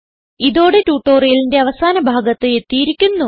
ഇതോടെ ട്യൂട്ടോറിയലിന്റെ അവസാന ഭാഗത്ത് എത്തിയിരിക്കുന്നു